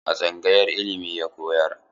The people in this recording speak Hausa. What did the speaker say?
A tsangayar ilimi ya koyar?